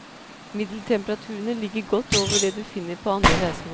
Middeltemperaturene ligger godt over det du finner på andre reisemål.